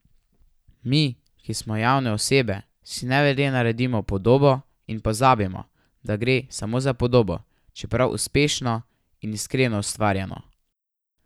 Mi, ki smo javne osebe, si nevede naredimo podobo in pozabimo, da gre samo za podobo, čeprav uspešno in iskreno ustvarjeno.